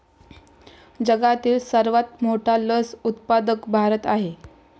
जगातील सर्वात मोठा लस उत्पादक भारत आहे.